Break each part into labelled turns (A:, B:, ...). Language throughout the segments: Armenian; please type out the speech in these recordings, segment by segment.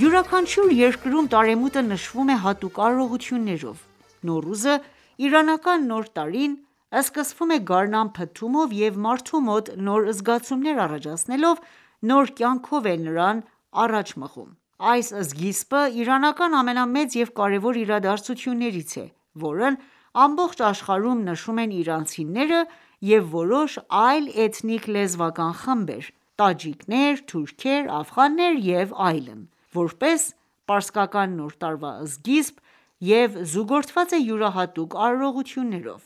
A: Յուրաքանչյուր երկրում տարեմուտը նշվում է հատուկ արարողություններով: Նոռուզը, իրանական Նոր տարին սկսվում է գարնան փթթումով և մարդու մոտ նոր զգացումներ առաջացնելով ,նոր կյանքով է նրան առաջ մղում: Այս սկիզբը իրանական ամենամեծ և կարևոր իրադարձություններից է, որն ամբողջ աշխարհում նշում են իրանցիները և որոշ այլ էթնիկ-լեզվական խմբեր (տաջիկներ թուրքեր, աֆղաններ և այլն) որպես պարսկական Նոր տարվա սկիզբ և զուգորդված է յուրահատուկ արարողություններով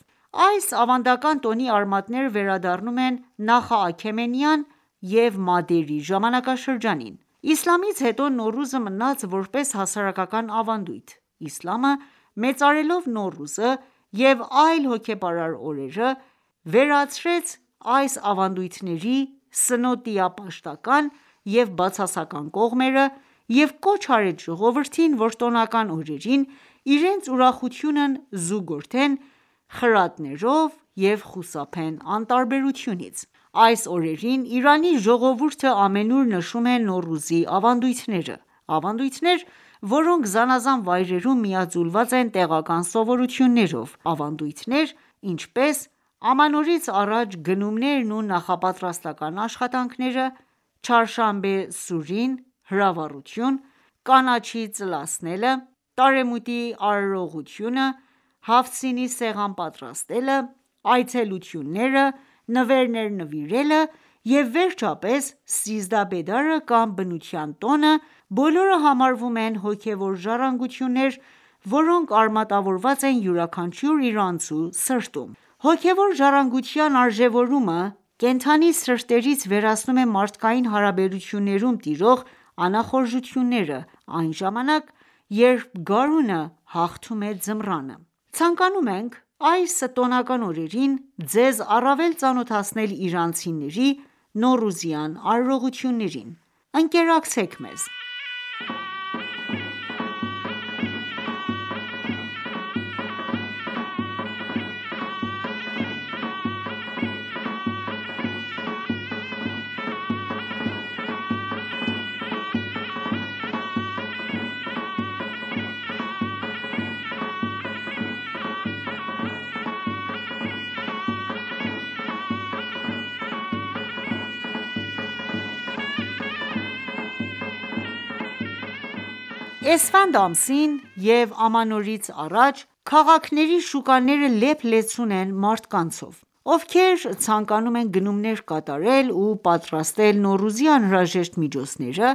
A: :Այս ավանդական տոնի արմատները վերադառնում են նախաքեմենյան և մադերի ժամանակաշրջանին: Իսլամից հետո, Նոռուզը մնաց ,որպես հասարակական ավանդույթ:Իսլամը մեծարելով Նոռուզը և այլ հոգեպարար օրերը ,վերացրեց այս ավանդույթների սնոտիապաշտական ​​և բացասական կողմերը և կոչ արեց ժողովրդին ,որ տոնական օրերին ,իրենց ուրախությունն զուգորդեն խրատներով և խուսափեն անտարբերությունից: Այս օրերին Իրանի ժողովուրդը ամենուր նշում է նոռուզի ավանդույթները: Ավանդույթներ, որոնք զանազան վայրերում միաձուլված են տեղական սովորություններով:Ավանդույթներ, ինչպես՝ ամանորից առաջ գնումներն ու նախապատրաստական աշխատանքները,«Չհարշանբե սուրին»(հրավառություն),կանաչի ծլացնելը, տարեմուտի արարողությունը, «Հաֆթ սին»-ի սեղան պատրաստելը, այցելությունները ,նվերներ նվիրելը և վերջապես «սիզդահ բեդար»-ը կամ բնության տոնը, բոլորը համարվում են հոգեւոր ժառանգություններ ,որոնք արմատավորված են յուրաքանչյուր իրանցու սրտում:Հոգևոր ժառանգության արժևորումը ,կենդանի սրտերից վերացնում է մարդկային հարաբերություններում տիրող անախորժությունները ,այն ժամանակ երբ գարունը հաղթում է ձմռանը: Ցանկանում ենք այս տոնական օրերին ձեզ առավել ծանոթացնել իրանցիների Նոռուզյան արարողություններին: Ընկերակցեք մեզ։ Էսֆանդ ամսին և ամանորից առաջ ,քաղաքների շուկաները լեփ-լեցուն են մարդկանցով, ովքեր ցանկանում են գնումներ կատարել ու պատրաստել Նոռուզի անհրաժեշտ միջոցները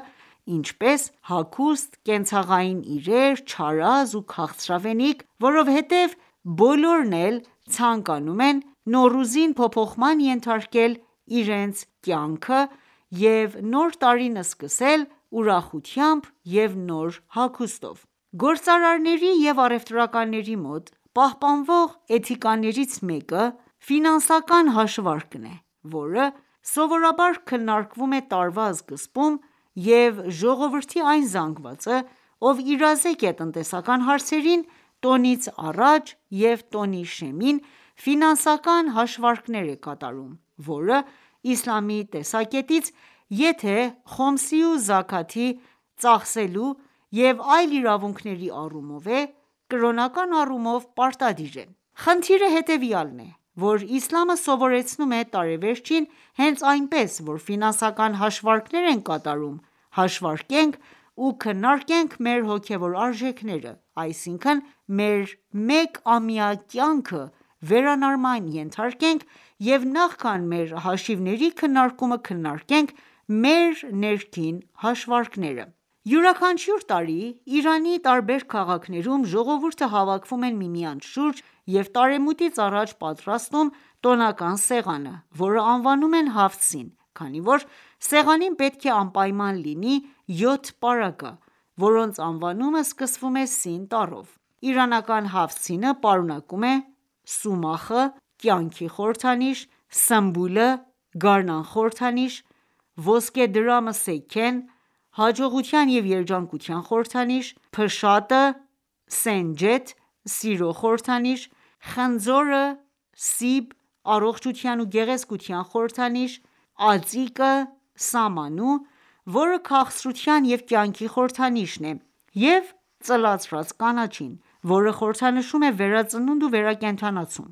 A: ,ինչպես ՝հագուստ, կենցաղային իրեր, չարազ ու քաղցրավենիք, որովհետև բոլորն էլ ցանկանում են Նոռուզին փոփոխման ենթարկել իրենց կյանքը և նոր տարին սկսել ուրախությամբ և նոր հագուստով:Գործարարների և առևտրականների մոտ պահպանվող էթիկաներից մեկը ֆինանսական հաշվարկն է, որը սովորաբար քննարկվում է տարվա սկզբում և ժողովրդի այն զանգվածը, ով իրազեկ է տնտեսական հարցերին ,տոնից առաջ և տոնի շեմին ,ֆինանսական հաշվարկներ է կատարում ,որը Իսլամի տեսակետից եթե «Խոմս»-ի ու «Զաքաթ»-ի ծախսելու և այլ իրավունքների առումով է ,կրոնական առումով պարտադիր է: Խնդիրը հետևյալն է,որ Իսլամը սովորեցնում է ,տարեվերջին հենց այնպես, որ ֆինանսական հաշվարկներ ենք կատարում ,հաշվարկենք ու քննարկենք մեր հոգեւոր արժեքները ,այսինքն մեր մեկ ամյա կյանքը վերանայման ենթարկենք և նախքան մեր հաշիվների քննարկումը ,քննարկենք մեր ներքին հաշվարկները: Յուրաքանչյուր տարի, Իրանի տարբեր քաղաքներում ժողովուրդը հավաքվում են միմյանց շուրջ և տարեմուտից առաջ ,պատրաստում տոնական սեղան, որը անվանում են «Հաֆթ սին», քանի որ սեղանին պետք է անպայման լինի յոթ պարագա, որոնց անվանումը սկսվում է Սին տառով:Իրանական «Հաֆթ Սին»-ը պարունակում է՝ Սումախը(կյանքի խորհրդանիշ),սմբուլը(գարնան խորհրդանիշ),ոսկեդրամը(սեքեն)(հաջողության և երջանկության խորհրդանիշ) ,փշատը (Սենջեթ) (սիրո խորհրդանիշ) ,խնձորը(սիբ)(առողջության ու գեղեցկության խորհրդանիշ),ածիկը (Սամանու), որը քաղցրության ու կյանքի խորհրդանիշ է և ծլացրած կանաչին, որը խորհրդանշում է վերածնունդ ու վերակենդանացում: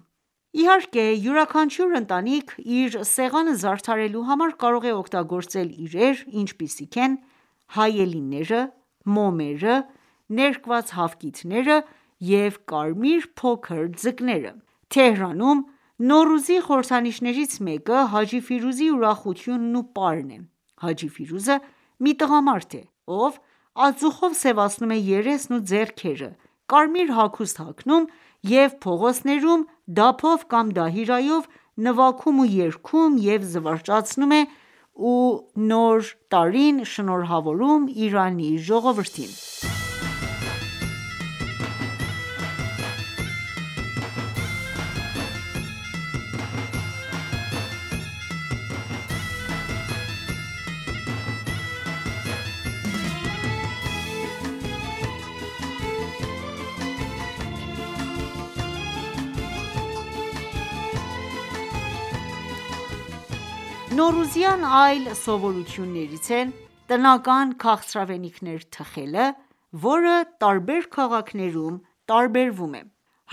A: Իհարկե, յուրաքանչյուր ընտանիք ,իր սեղանը զարդարելու համար կարող է օգտագործել իրեր, ինչպիսիք են հայելիները, մոմերը, ներկված հավկիթները և կարմիր փոքր ձկները: «Հաֆթ սին-ի սեղանը Թեհրանում Նոռուզի խորհրդանիշներից մեկը՝ Հաջի Ֆիրուզի ուրախությունն ու պարն է։ Հաջի ֆիրուզը մի տղամարդ է ,ով ածուխով սևացնում է երեսն ու ձեռքերը, կարմիր հագուստ հագնում, և փողոցներում դափով կամ դահիրայով նվագում ու երգում և զվարճացնում է ու նորի տարին շնորհավորում Իրանի ժողովրդին: Նոռության այլ սովորություններից է՝ տնական քաղցրավենիքներ թխելը ,որը տարբեր քաղաքներում տարբերվում է: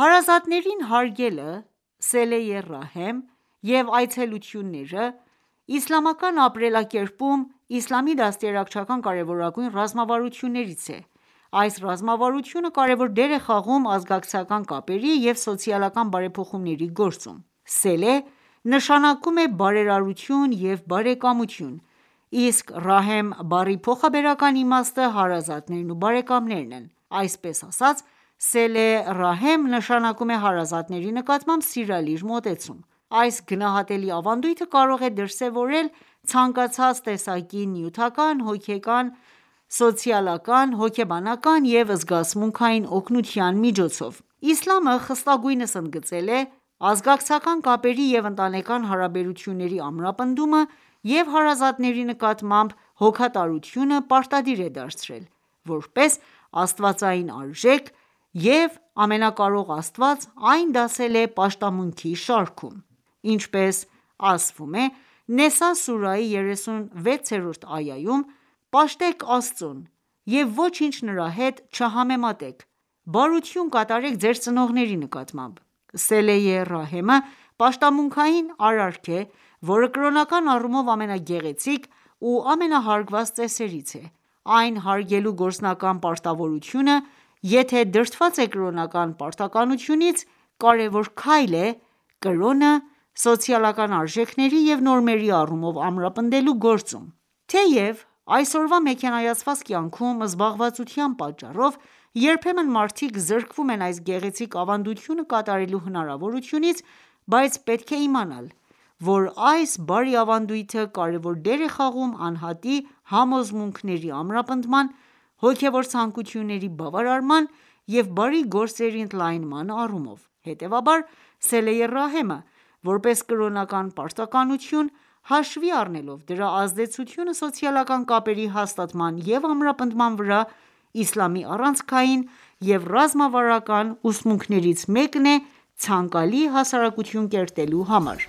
A: Հարազատներին հարգելը(Սելե Ռահեմ) և այցելությունները ,իսլամական ապրելակերպում ,Իսլամի դաստիարակչական կարևորագույն ռազմավարություններից է: Այս ռազմավարությունը կարևոր դեր է խաղում ազգակցական կապերի և սոցիալական բարեփոխումների գործում:(Սելե)նշանակում է բարերարություն և բարեկամություն ,իսկ (Ռահեմ)-բառի փոխաբերական իմաստը հարազատներն ու բարեկամներն են: Այսպես ասած (Սելե Ռահեմ)նշանակում է հարազատների նկատմամբ սիրալիր մոտեցում: Այս գնահատելի ավանդույթը կարող է դրսևորվել ցանկացած տեսակի՝ նյութական, հոգևոր, սոցիալական, հոգեբանական և զգացմունքային օգնության միջոցով։ Իսլամը խստագույնս ընդգծել է ազգակցական կապերի և ընտանեկան հարաբերությունների ամրապնդումը և հարազատների նկատմամբ հոգատարությունը պարտադիր է դարձրել ,որպես աստվածային արժեք, և Ամենակարող Աստված այն դասել է պաշտամունքի շարքում։ Ինչպես ասվում է Նեսա սուրահի 36-րդ այայում.«Պաշտեք Աստծուն ,և ոչինչ նրա հետ չհամեմատեք, բարություն կատարեք Ձեր ծնողների նկատմամբ»:(Սելե ռահեմ)-ը պաշտամունքային արարք է ,որը կրոնական առումով ամենագեղեցիկ ու ամենա հարգված ծեսերից է: Այն հարգելու գործնական պարտավորությունը, եթե դրդված է կրոնական պարտականությունից, կարևոր քայլ է՝ կրոնը ,սոցիալական արժեքների և նորմերի առումով ամրապնդելու գործում։ Թեև այսօրվա մեքենայացված կյանքում, զբաղվածության պատճառով, երբեմն մարդիկ զրկվում են այս գեղեցիկ ավանդությունը կատարելու հնարավորությունից, բայց պետք է իմանալ, որ այս բարի ավանդույթը կարևոր դեր է խաղում անհատի համոզմունքների ամրապնդման, հոգևոր ցանկությունների բավարարման և բարի գործերի ընդլայնման առումով: Հետևաբար, «Սելե Ռահեմը»,որպես կրոնական պարտականություն՝ հաշվի առնելով դրա ազդեցությունը սոցիալական կապերի հաստատման և ամրապնդման վրա, Իսլամի առանցքային և ռազմավարական ուսմունքներից մեկն է՝ ցանկալի հասարակություն կերտելու համար: Ամու Նոռուզը և Հաջի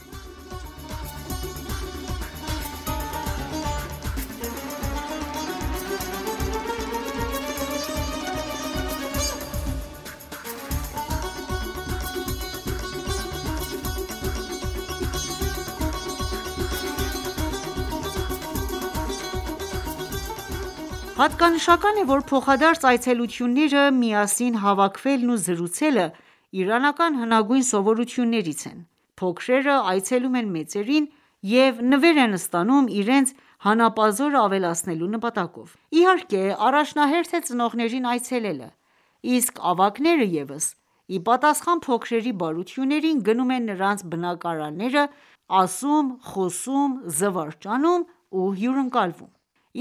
A: Ֆիրուզը Նոռուզի ժամանակ Իրանում Հատկանշական է ,որ փոխադարձ այցելությունները, միասին հավաքվելն ու զրուցելը իրանական հնագույն սովորություններից են:Փոքրերը այցելում են մեծերին և նվեր են ստանում՝ իրենց հանապազորը ավելացնելու նպատակով: Իհարկե առաջնահերթ է ծնողներին այցելելը, իսկ ավագները ևս իպատասխան փոքրերի բարություններին ,գնում են նրանց բնակարանները ,ասում ,խոսում, զվարճանում ու հյուընկալվում: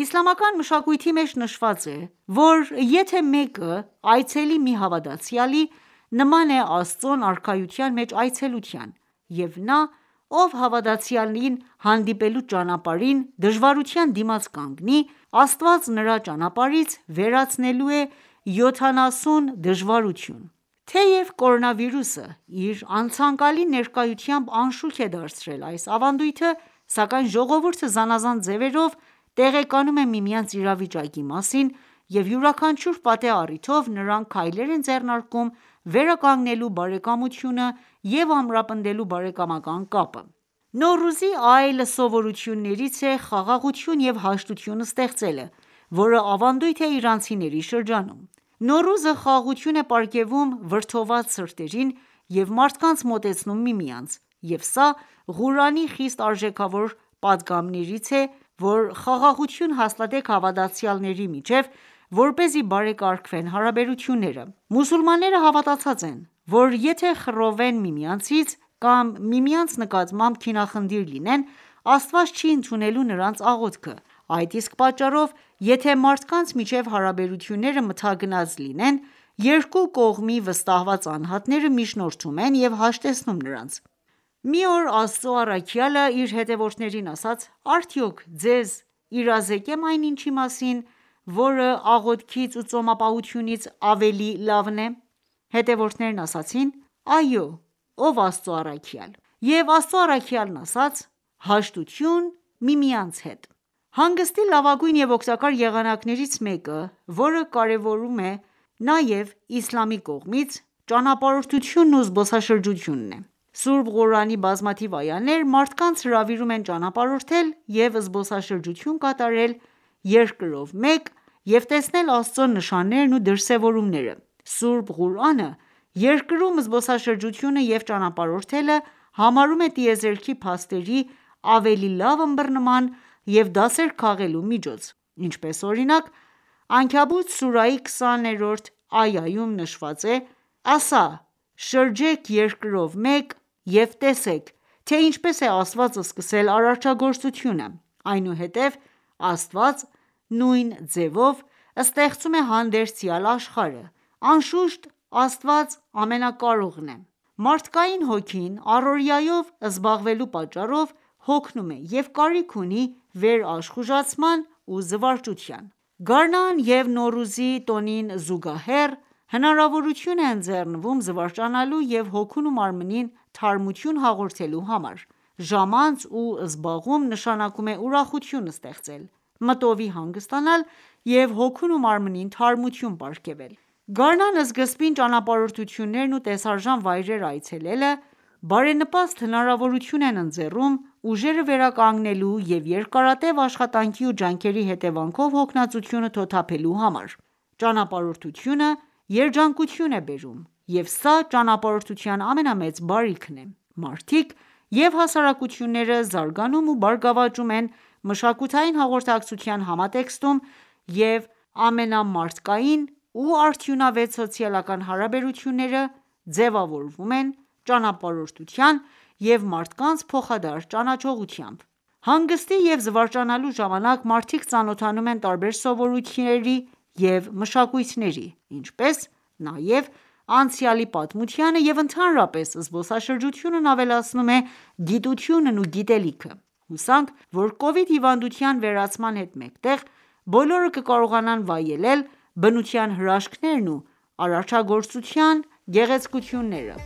A: Իսլամական մշակույթի մեջ նշված է ,որ ,եթե մեկը այցելի մի հավատացյալի ,նման է Աստծուն արքայության մեջ այցելության և նա ով հավատացյալին հանդիպելու ճանապարհին դժվարության դիմաց կանգնի ,Աստված նրա ճանապարհից վերացնելու է յոթանասուն դժվարություն: Թեև կորոնավիրուսը ,իր անցանկալի ներկայությամբ անշուք է դարձրել այս ավանդությունը, սակայն ժողովուրդը զանազան ձևերով տեղեկանում է միմյանց իրավիճակի մասին և յուրաքանչյուր պատեհ առիթով ,նրանք քայլեր են ձեռնարկում՝ վերականգնելու բարեկամությունը և ամրապնդելու բարեկամական կապը: Նոռուզի այլ սովորություններից է՝ խաղաղություն ու հաշտություն ստեղծելը, որը ավանդույթ է իրանցիների շրջանում։ Նոռուզը խաղաղություն է պարգևում վրդովված սրտերին և մարդկանց մոտեցնում միմյանց ,և սա Ղուրանի խիստ արժեքավոր պատգամներից է,որ՝ խաղաղություն հաստատեք հավատացյալների միջև ,որպեսզի բարեկարգվեն հարաբերությունները: Մուսուլմանները հավատացած են ,որ եթե խռովեն միմյանցից ,կամ միմյանց նկատմամբ քինախնդիր լինեն ,Աստված չի ընդունելու նրանց աղոթքը ,այդ իսկ պատճառով ,եթե մարդկանց միջև հարաբերությունները մթագնած լինի ,երկու կողմի վստահված անհատները միջնորդում են և հաշտեցնում նրանց: Մի օր Աստծու առաքյալը իր հետևորդներին ասաց.« Արդյո՞ք ձեզ իրազեկեմ այն ինչի մասին ,որը աղոթքից ու ծոմապահությունից ավելի լավն է»:Հետևորդները ասացին.«Այո ,ով Աստծու առաքյալ»: Եվ Աստծու առաքյալն ասաց.«Հաշտություն միմյանց հետ»: Հանգստի լավագույն և օգտակար եղանակներից մեկը, որը կարևորվում է նաև իսլամի կողմից, ճանապարհորդությունն ու զբոսաշրջությունն է։Սուրբ Ղուրանի բազմաթիվ այաներ մարդկանց հրավիրում են ճանապարհորդել և զբոսաշրջություն կատարել երկրով մեկ և տեսնել Աստծո նշաններն ու դրսևորումները:Սուրբ Ղուրանը երկրում զբոսաշրջությունը և ճանապարհորդելը համարում է տիեզերքի փաստերի ավելի լավ ըմբռնման և դասեր քաղելու միջոց: Ինչպես օրինակ, Անքաբութ սուրահի 20-րդ այայում նշված է.«Ասա, շրջեք երկրով մեկ և տեսեք, թե ինչպես է Աստված սկսել արարչագործությունը:Այնուհետև Աստված (նույն ձևով) ստեղծում է հանդերձյալ աշխարհը,.Անշուշտ, Աստված ամենակարողն է»: Մարդկային հոգին առօրյայով զբաղվելու պատճառով հոգնում է և կարիք ունի վերաշխուժացման ու զվարճության: Գարնան և Նոռուզի տոնին զուգահեռ, հնարավորություն է ընձեռվում զվարճանալու և հոգուն ու մարմնին թարմություն հաղորդելու համար: Ժամանց ու զբաղում, նշանակում է ուրախություն ստեղծել, մտովի հանգստանալ և հոգուն ու մարմնին թարմություն պարգևել: Գարնան սկզբին ճանապարհորդություններն ու տեսարժան վայրերը այցելելը բարենպաստ հնարավորություն են ընձեռում ուժերը վերականգնելու և երկարատև աշխատանքի և ջանքերի հետևանքով հոգնածությունը թոթափելու համար։ Ճանապարհորդությունը երջանկություն է բերում, և սա ճանապարհորդության ամենամեծ բարիքն է:Մարդիկ և հասարակությունները զարգանում ու բարգավաճում են մշակութային հաղորդակցության համատեքստում և ամենամարդկային և արդյունավետ սոցիալական հարաբերությունները ձևավորվում են ճանապարհորդության և մարդկանց փոխադարձ ճանաչողությամբ:Հանգստի և զվարճանալու ժամանակ մարդիկ ծանոթանում են տարբեր սովորույթների և մշակույթների, ինչպես նաև անցյալի պատմությանը և ընդհանրապես՝զբոսաշրջությունն ավելացնում է գիտությունն ու գիտելիքը:Հուսանք, որ Կովիդ հիվանդության վերացման հետ մեկտեղ, բոլորը կկարողանան վայելել բնության հրաշքներն ու արարչագործության գեղեցկությունները: